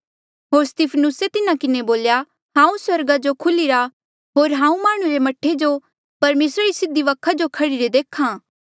होर स्तिफनुसे तिन्हा किन्हें बोल्या हांऊँ स्वर्गा जो खुल्हिरा होर हांऊँ माह्णुं रे मह्ठे जो परमेसरा री सीधी वखा जो खड़ीरे देख्हा